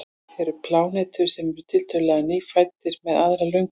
eru plánetur sem eru tiltölulega „nýfæddar“ með aðra lögun